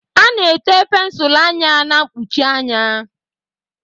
A na-ete pensụl anya na-mkpuchi anya.